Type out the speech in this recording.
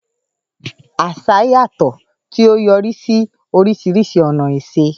Àṣà yàtọ̀, tí ó yọrí sí oríṣiríṣi ọ̀nà ìṣe.